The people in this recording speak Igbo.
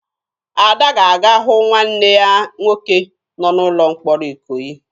Ada ga-aga hụ nwanne ya nwoke nọ n'ụlọ mkpọrọ Ikoyi.